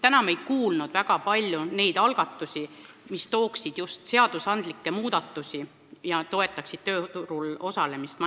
Täna me ei kuulnud väga palju algatustest, mis tooksid kaasa seadusandlikke muudatusi ja toetaksid vanemaealiste tööturul osalemist.